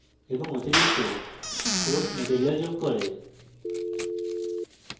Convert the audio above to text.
এবং অতিরিক্ত course material যোগ করে